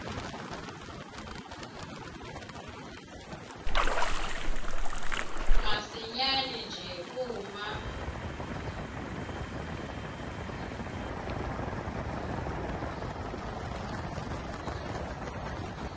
masinyane nje uma